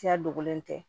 Siya dogolen tɛ